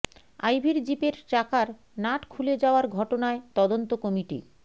আইভীর জিপের চাকার নাট খুলে যাওয়ার ঘটনায় তদন্ত কমিটি